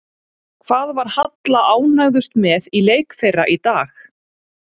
Hvað var Halla ánægðust með í leik þeirra í dag?